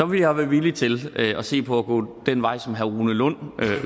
vil jeg være villig til at se på at gå den vej som herre rune lund